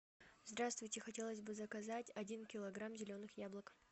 здравствуйте хотелось бы заказать один килограмм зеленых яблок